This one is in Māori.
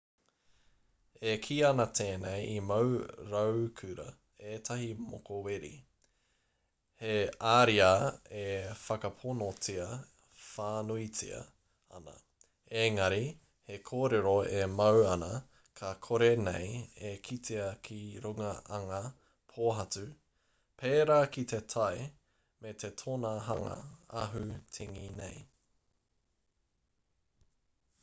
e kī ana tēnei i mau raukura ētahi mokoweri he ariā e whakaponotia whānuitia ana engari he kōrero e mau ana ka kore nei e kitea ki runga anga pōhatu pērā ki te tae me te tōna hanga ahu tengi nei